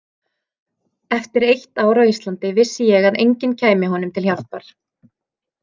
Eftir eitt ár á Íslandi vissi ég að enginn kæmi honum til hjálpar.